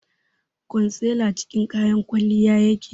concealer cikin kayan kwalliya yake